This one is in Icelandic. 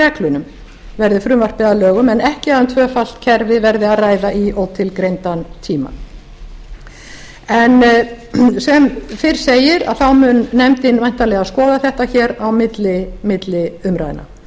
reglunum verði frumvarpið að lögum en ekki að um tvöfalt kerfi verði að ræða í ótilgreindan tíma en sem fyrr segir mun nefndin væntanlega skoða þetta á milli umræðna í